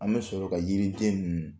An bɛ sɔrɔ ka yiri biyɛn ninnu